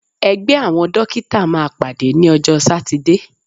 Ẹgbẹ́ àwọn Dókítà máa pàdé ní ọjọ́ sátidé.